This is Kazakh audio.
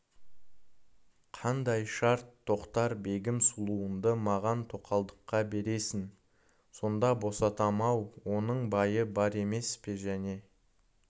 қандай шарт тоқтар-бегім сұлуыңды маған тоқалдыққа бересің сонда босатам ау оның байы бар емес пе және